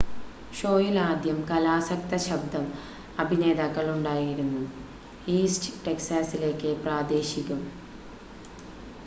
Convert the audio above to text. ഷോയിൽ ആദ്യം കലാസക്ത ശബ്ദം അഭിനേതാക്കൾ ഉണ്ടായിരുന്നു ഈസ്റ്റ് ടെക്സാസിലേക്ക് പ്രാദേശികം